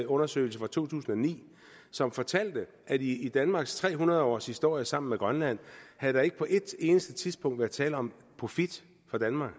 undersøgelse fra to tusind og ni som fortalte at i i danmarks tre hundrede års historie sammen med grønland havde der ikke på et eneste tidspunkt været tale om profit for danmark